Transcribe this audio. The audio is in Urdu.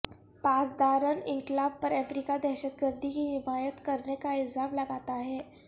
پاسداران انقلاب پر امریکہ دہشت گردی کی حمایت کرنے کا الزام لگاتا ہے